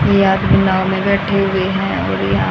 ये आदमी नाव में बैठे हुए हैं और यहां--